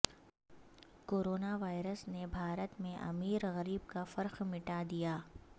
corona virus نے بھارت میں امیر غریب کا فرق مٹا دیا